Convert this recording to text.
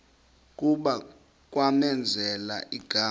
kuba kwamenzela igama